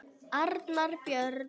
Arnar Björn.